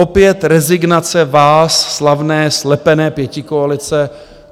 Opět rezignace vás, slavné slepené pětikoalice.